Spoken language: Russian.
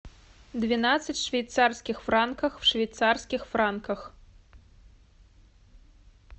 двенадцать швейцарских франков в швейцарских франках